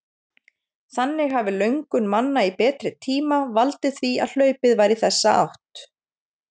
Þannig hafi löngun manna í betri tíma valdið því að hlaupið var í þessa átt.